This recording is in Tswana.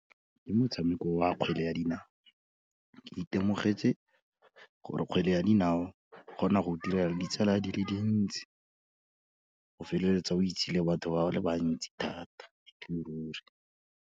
Ke motshameko wa kgwele ya dinao, ke itemogetse gore kgwele ya dinao, e kgona go go direla le ditsala di le dintsi, o feleletsa o itse le batho ba le bantsi thata, ele ruri.